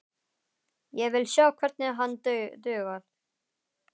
Ég vil sjá hvernig hann dugar!